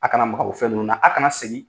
A kana maka o fɛn ninnu na. A kana segin